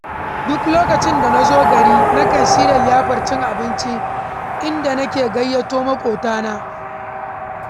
Duk lokacin da na zo gari, nakan shirya liyafar cin abinci, inda nake gayyato maƙotana.